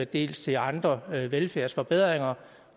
dels til andre velfærdsforbedringer